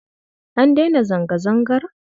An daina zanga-zangar?